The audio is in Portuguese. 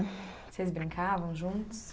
Vocês brincavam juntos?